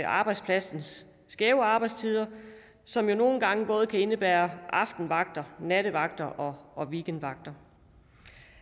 arbejdspladsens skæve arbejdstider som jo nogle gange både kan indebære aftenvagter nattevagter og weekendvagter